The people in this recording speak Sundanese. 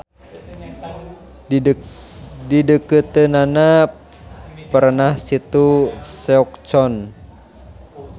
Di deukeuteunnana perenah situ Seok-Chon.